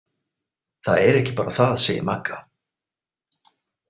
Það er ekki bara það, segir Magga.